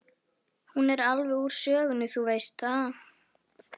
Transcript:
Hún er alveg úr sögunni, þú veist það.